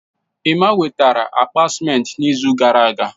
Emma wetara akpa ciment n'izu gara aga.